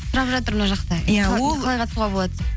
сұрап жатыр мына жақта қалай қатысуға болады